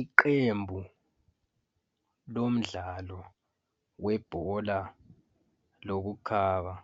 Iqembu lomdlalo webhola lokukhaba